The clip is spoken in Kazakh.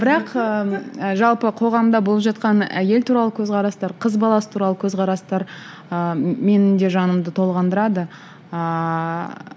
бірақ ыыы жалпы қоғамда болып жатқан әйел туралы көзқарастар қыз баласы туралы көзқарастар ыыы менің де жанымды толғандырады ааа